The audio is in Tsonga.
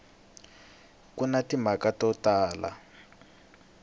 ku na timhaka to tala